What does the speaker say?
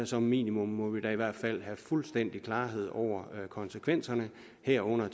som minimum må vi da i hvert fald have fuldstændig klarhed over konsekvenserne herunder